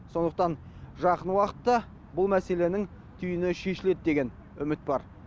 сондықтан жақын уақытта бұл мәселенің түйіні шешіледі деген үміт бар